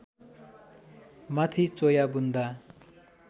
माथि चोया बुन्दा